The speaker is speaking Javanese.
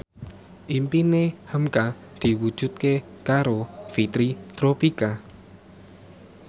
impine hamka diwujudke karo Fitri Tropika